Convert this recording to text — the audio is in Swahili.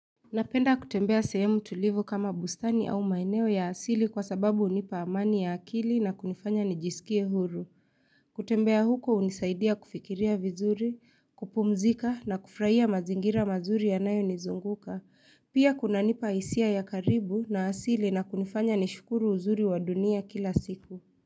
Napenda kutembea sehemu tulivu kama bustani au maeneo ya asili kwa sababu hunipa amani ya akili na kunifanya nijisikie huru. Kutembea huku hunisaidia kufikiria vizuri, kupumzika na kufurahia mazingira mazuri ya nayo nizunguka. Pia kunanipa hisia ya karibu na asili na kunifanya nishukuru uzuri wa dunia kila siku.